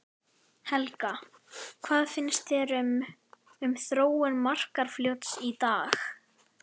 Helga: Hvað finnst þér um, um þróun Markarfljóts í dag?